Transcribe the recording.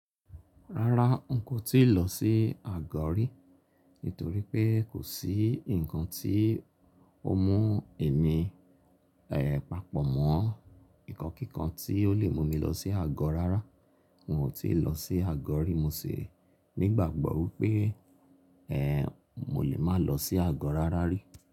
Rárá n kò tíì lọ sí àgọ rí, nítorí pé kò sí ǹkan tí ó mú èmí, ẹ́ẹ̀ papọ̀ mọ́ nnkan kíkan tí ó lè mú mi lọ sí àgọ rárá. N ò tíì lọ sí àgọ rí, mo ṣi nígbàgbọ́ pé ẹ́ẹ̀ mo lè máa lọ sí àgọ rárá rí.